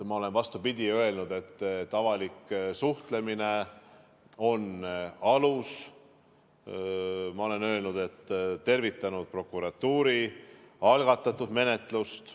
Ma olen, vastupidi, öelnud, et avalik suhtlemine on see alus, ma olen tervitanud prokuratuuri algatatud menetlust.